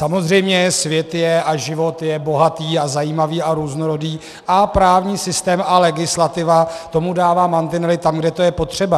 Samozřejmě, svět je a život je bohatý a zajímavý a různorodý a právní systém a legislativa tomu dává mantinely tam, kde to je potřeba.